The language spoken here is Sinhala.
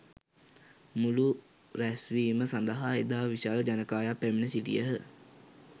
මුළු රැස්වීම සඳහා එදා විශාල ජනකායක් පැමිණ සිටියහ.